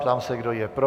Ptám se, kdo je pro.